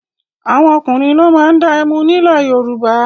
Àwọn ọkùnrin ló máa ń dá ẹmu ní ilẹ̀ Yorùbá.